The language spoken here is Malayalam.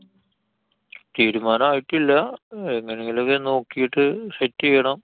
തീരുമാനായിട്ടില്ല. എങ്ങനെങ്കിലും ഒക്കെ നോക്കിട്ട് set ചെയ്യണം.